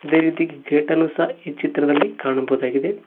ಅದೇ ರೀತಿ ಗೇಟ್ ಅನ್ನು ಸಹ ಈ ಚಿತ್ರದಲ್ಲಿ ಕಾಣಬಹುದಾಗಿದೆ.